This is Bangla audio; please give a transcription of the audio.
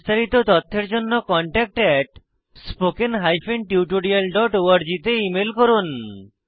বিস্তারিত তথ্যের জন্য contactspoken tutorialorg তে ইমেল করুন